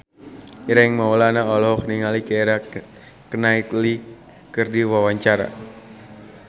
Ireng Maulana olohok ningali Keira Knightley keur diwawancara